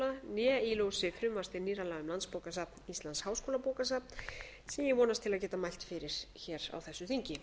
né í ljósi frumvarps til nýrra laga um landsbókasafn íslands háskólabókasafn sem ég vonast til að geta mælt fyrir hér á þessu þingi